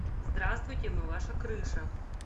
здравствуйте мы ваша крыша